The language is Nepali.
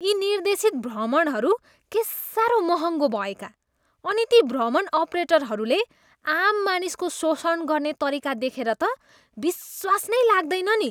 यी निर्देशित भ्रमणहरू के साह्रो महङ्गो भएका अनि ती भ्रमण अपरेटरहरूले आम मानिसको शोषण गर्ने तरिका देखेर त विश्वास नै लाग्दैन नि।